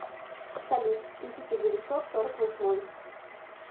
салют тысяча девятьсот сорок восьмой